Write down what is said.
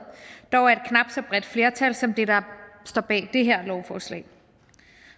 dog af et knap så bredt flertal som det der står bag det her lovforslag